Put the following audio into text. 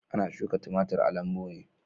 Ana shuka timatir a lambu ne.